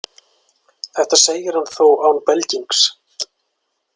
Þetta segir hann þó án belgings.